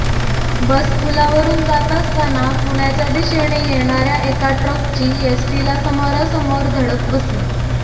बस पुलावरून जात असताना पुण्याच्या दिशेने येणाऱ्या एका ट्रकची एसटीला समोरासमोर धडक बसली